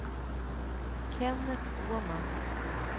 Kennet Åman